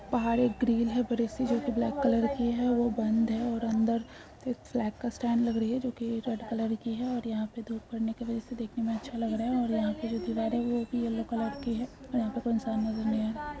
बाहर एक ग्रिल है बड़ी-सी जो कि ब्लैक कलर की है वो बंद है और अंदर एक फ्लैग का स्टड लग रही है जो कि रेड कलर की है और यहां पे धूप पड़ने की वजह से देखने में अच्छा लग रहा है और यहां पे जो दिवार है वो भी येलो कलर की है और यह पे कौन-सा --